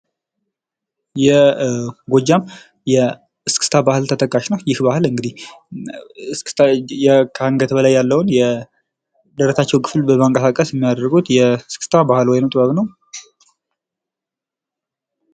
የጎጃም የእስክስታ ባህል ተጠቃሽ ነው ይህ ባህል እንግዲህ እስክታ ከአንገት በላይ የደረታቸውን ክፍል በማንቀሳቀስ የሚያደርጉት የእስክታ ባህል ወይም ጥበብ ነው።